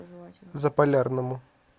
заполярному